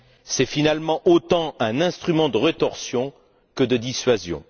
C'est finalement autant un instrument de rétorsion que de dissuasion.